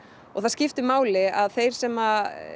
og það skiptir máli að þeir sem